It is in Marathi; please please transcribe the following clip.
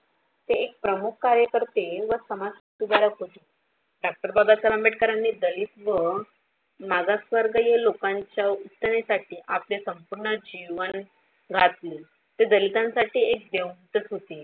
ते एक प्रमुख कार्यकर्ते व समाजसुधारक होते. डॉक्टर बाबासाहेब आंबेडकरानी दलित व मागासवर्गीय लोकांच्या उत्तरेसाठी आपले संपूर्ण जीवन घातले. ते दलितांसाठी एक देवदू तच होते.